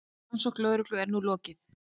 Rannsókn lögreglu er nú lokið.